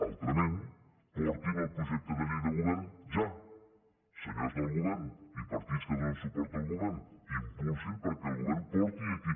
altrament portin el projecte de llei del govern ja senyors del govern i partits que donen suport al govern impulsin que el govern porti aquí